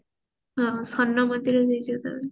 ହଁ ସ୍ଵର୍ଣ ମନ୍ଦିର ଗୋଟେ ଜାଗା